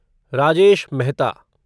Rajesh Mehta